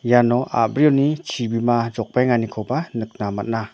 iano a·brioni chibima jokbaenganikoba nikna man·a.